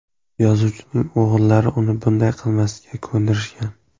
Yozuvchining o‘g‘illari uni bunday qilmaslikka ko‘ndirishgan.